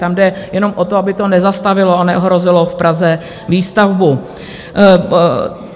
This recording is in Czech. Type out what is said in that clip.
Tam jde jenom o to, aby to nezastavilo a neohrozilo v Praze výstavbu.